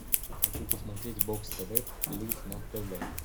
хочу посмотреть бокс тв плюс на тв